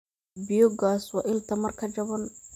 Biyogaas waa il tamar ka jaban.